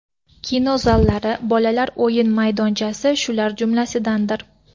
Kino zallari, bolalar o‘yin maydonchasi shular jumlasidandir.